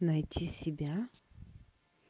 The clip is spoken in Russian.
найти себя